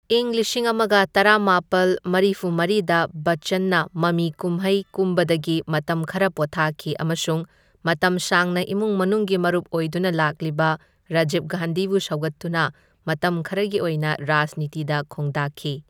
ꯏꯪ ꯂꯤꯁꯤꯡ ꯑꯃꯒ ꯇꯔꯥꯃꯥꯄꯜ ꯃꯔꯤꯐꯨ ꯃꯔꯤꯗ ꯕꯆꯆꯟꯅ ꯃꯃꯤ ꯀꯨꯝꯍꯩ ꯀꯨꯝꯕꯗꯒꯤ ꯃꯇꯝ ꯈꯔ ꯄꯣꯊꯥꯈꯤ ꯑꯃꯁꯨꯡ ꯃꯇꯝ ꯁꯥꯡꯅ ꯏꯃꯨꯡ ꯃꯅꯨꯡꯒꯤ ꯃꯔꯨꯞ ꯑꯣꯏꯗꯨꯅ ꯂꯥꯛꯂꯤꯕ, ꯔꯖꯤꯕ ꯒꯥꯟꯙꯤꯕꯨ ꯁꯧꯒꯠꯇꯨꯅ ꯃꯇꯝ ꯈꯔꯒꯤ ꯑꯣꯏꯅ ꯔꯥꯖꯅꯤꯇꯤꯗ ꯈꯣꯡꯗꯥꯈꯤ꯫